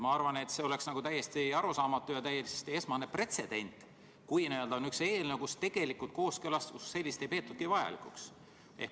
Ma arvan, et see oleks täiesti arusaamatu ja täielik pretsedent, kui on üks eelnõu, mille puhul kooskõlastust kui sellist ei peetagi vajalikuks.